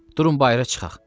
Durun bayıra çıxaq,